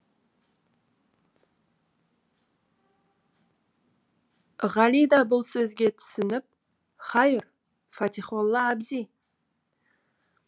ғали да бұл сөзге түсініп хайыр фатихолла абзи